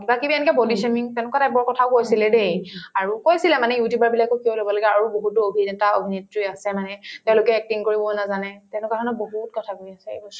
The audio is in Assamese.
কিবাকিবি এনেকুৱা body তেনেকুৱা type ৰ কথাও কৈছিলে দেই আৰু কৈছিলে মানে you tuber বিলাকক কিয় লব লাগে আৰু বহুতো অভিনেতা-অভিনেত্ৰী আছে মানে তেওঁলোকে acting কৰিব নাজানে তেনেকুৱা মানে বহুত কথা কৈ